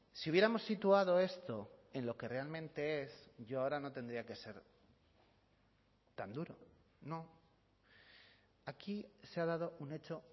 si hubiéramos situado esto en lo que realmente es yo ahora no tendría que ser tan duro no aquí se ha dado un hecho